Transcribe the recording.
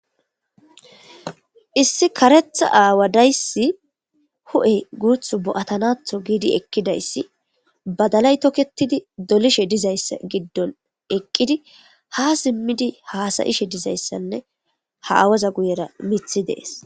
issi karetha aawadayssi hu7e guuth bo7atanatho giidi ekkidayssi badalay toketidi dolishe dizayssa giddon eqqidi ha simmidi haasayishe dizayssanne ha awaza guyera mithi dees